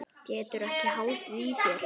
Geturðu ekki haldið í þér?